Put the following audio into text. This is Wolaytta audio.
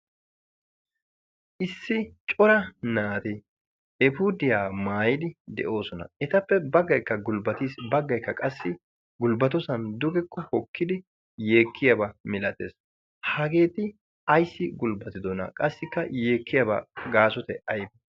Issi cora naati eepudiyaa maayyidi de'oosona, etappe baggaykka gulbbati, baggaykka qassi gulbbatoosan yeekkiyaaba missaatees. hageeti ayssi gulbbatidoona qassi yekkiyaaba gaasoy aybbe?